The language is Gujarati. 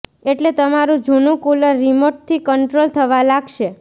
એટલે તમારું જૂનું કુલર રિમોટ થી કંટ્રોલ થવા લાગશે